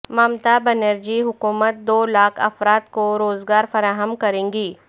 ممتا بنرجی حکومت دو لاکھ افراد کو روزگار فراہم کرے گی